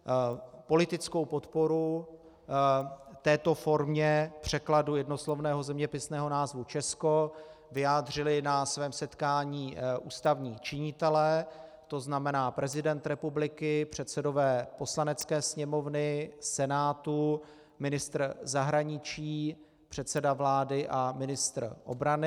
Politickou podporu této formě překladu jednoslovného zeměpisného názvu Česko vyjádřili na svém setkání ústavní činitelé, to znamená prezident republiky, předsedové Poslanecké sněmovny, Senátu, ministr zahraničí, předseda vlády a ministr obrany.